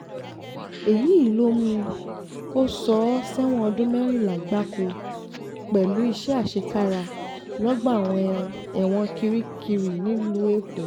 èyí ló mú kó sọ ọ́ sẹ́wọ̀n ọdún mẹ́rìnlá gbáko pẹ̀lú gbáko pẹ̀lú iṣẹ́ àṣekára lọ́gbà ẹ̀wọ̀n kirikiri nílùú èkó